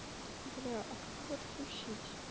бля а как его отключить